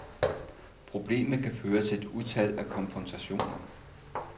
Problemet kan føre til et utal af konfrontationer.